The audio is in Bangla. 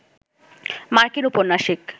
মার্কিন উপন্যাসিক